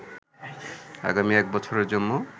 আগামী এক বছরের জন্য